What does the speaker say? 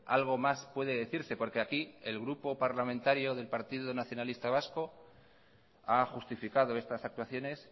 algo más puede decirse porque aquí el grupo parlamentario del partido nacionalista vasco ha justificado estas actuaciones